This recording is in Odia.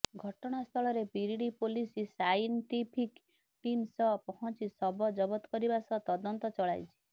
ଘଟଣା ସ୍ଥଳରେ ବିରିଡି ପୋଲିସ ସାଇନ୍ଟଫିକ ଟିମ ସହ ପହଁଚି ଶବ ଜବତ କରିବା ସହ ତଦନ୍ତ ଚଳାଇଛି